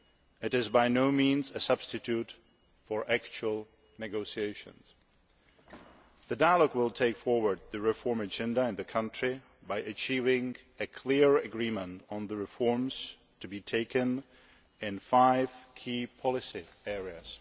It is by no means a substitute for actual negotiations. The dialogue will take forward the reform agenda in the country by achieving a clear agreement on the reforms to be taken in five key policy areas.